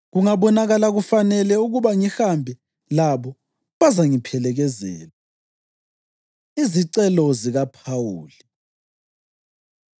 Kungabonakala kufanele ukuba ngihambe labo, bazangiphelekezela. Izicelo ZikaPhawuli